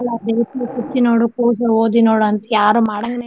ಅಲ್ಲಾ ದೇಶ ಸುತ್ತಿ ನೋಡು ಕೋಶ ಓದಿ ನೋಡು ಅಂತ್ಯಾರು ಮಾಡಾಂಗನೆ ಇಲ್ಲ.